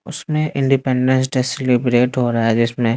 उसमें independence day celebrate हो रहा है जिसमें--